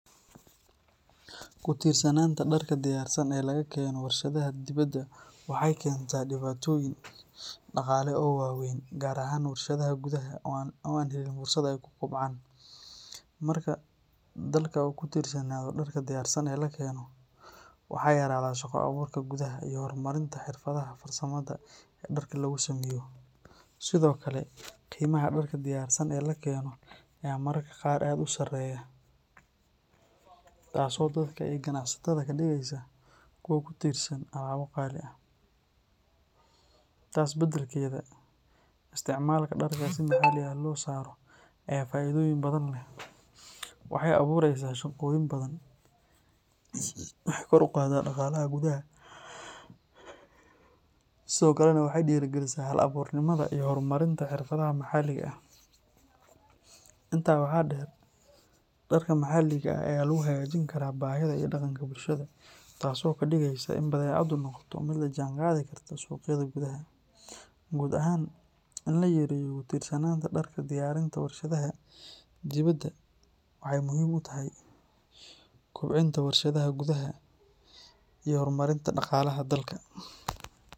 Kutiirsanaanta darka diyaarsan e lagakeno warshadaha dibada waxey keenta dibaatooyin daqaale oo waaweyn gaar ahaan warshadaha gudaha oo aan helin fursad ey kukubcaan. Marka dalka u kutiirsanaado darka diyaarsan e lakeeno waxa yaraada shaqo abuurka gudaha iyo hormarinta xirfadaha farsamada darka lagusameeyo. Sidoo kale qiimaha darka diyaarsan e lakeeno aya mararka qaar aad usareeya taaso dadka ee qanacsatada kadgeysa kuwa kutiirsan alaabo qaali ah. Tas badalkeeda isticmalka darka sida qaali ah losaaro ayaa faaidooyin badan leh. Waxey abuureysa shaqooyin badan waxey kor uqadaa daqaalaha gudaha sidoo kale neh waxey diiri galisaa halabuurnimada iyo hormarinta xirfadaha maxaaliga ah. Intaad waxaa deer darka maxaaliga ahee lagu hagaajinkara bahida iyo daqanka bulshada taso kadigeysa in badecadu noqoto mid lajaanqadi karto suqyada gudaha. Guud axaan in layareeyo kutishanada darka diyaarinta warshadaha dibada waxey muhiim utahy kubcinta warshadaha gudaha iyo hormarinta daqaalaha dalka.